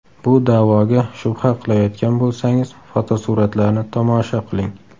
Bu da’voga shubha qilayotgan bo‘lsangiz, fotosuratlarni tomosha qiling!